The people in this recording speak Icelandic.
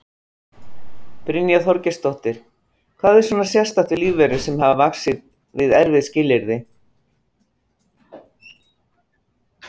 Brynja Þorgeirsdóttir: Hvað er svona sérstakt við lífverur sem vaxa við erfið skilyrði?